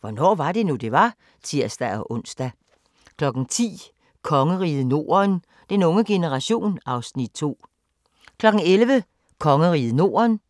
Hvornår var det nu, det var? (tir-ons) 09:05: Hvornår var det nu, det var? (tir-ons) 10:00: Kongeriget Norden - den unge generation (Afs. 2) 11:00: Kongeriget Norden